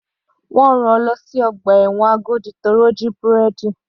Wọ́n rán-an lọ sí ọgbà ẹ̀wọ̀n Agodi torí ó jí búrẹ́dì.